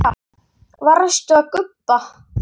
Varstu að gubba?